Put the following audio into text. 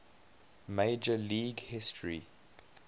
major league history